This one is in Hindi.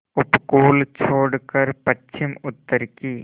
उपकूल छोड़कर पश्चिमउत्तर की